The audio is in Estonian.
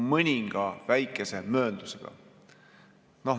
Mõninga väikese mööndusega.